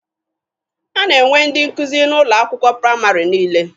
A na-enwe ndị nkụzi n'ụlọ akwụkwọ praịmarị niile.